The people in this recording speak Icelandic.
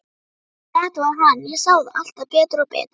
Þetta var hann, ég sá það alltaf betur og betur.